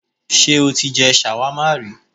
Sé o ti je shawarma ri?